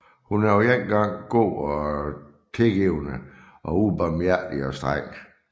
Hun er på en gang god og tilgivende og ubarmhjertig og streng